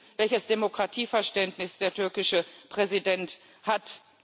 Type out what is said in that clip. Wir wissen, welches Demokratieverständnis der türkische Präsident hat.